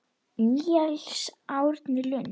Níels Árni Lund.